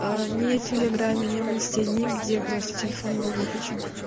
не телеграме не в инсте нигде просто телефон был выключен